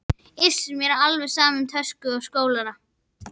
Iss, mér er alveg sama um töskuna og skólann